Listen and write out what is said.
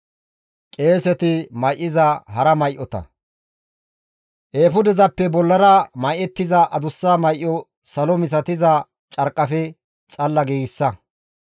«Eefudezappe bollara may7ettiza adussa may7o salo misatiza carqqafe xalla giigsa.